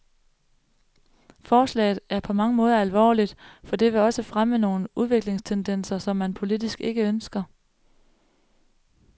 Forslaget er på mange måder alvorligt, for det vil også fremme nogle udviklingstendenser, som man politisk ikke ønsker.